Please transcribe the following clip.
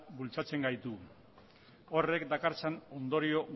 bultzatzen gaitu horrek dakartzan ondorio